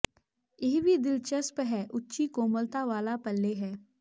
ਇਹ ਵੀ ਦਿਲਚਸਪ ਹੈ ਉੱਚੀ ਕੋਮਲਤਾ ਵਾਲਾ ਪੱਲੇ ਹੈ